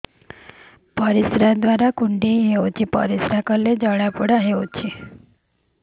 ପରିଶ୍ରା ଦ୍ୱାର କୁଣ୍ଡେଇ ହେଉଚି ପରିଶ୍ରା କଲେ ଜଳାପୋଡା ହେଉଛି